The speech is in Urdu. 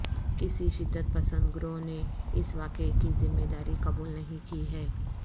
کسی شدت پسند گروہ نے اس واقعہ کی ذمہ داری قبول نہیں کی ہے